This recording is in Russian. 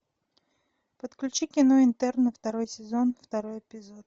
подключи кино интерны второй сезон второй эпизод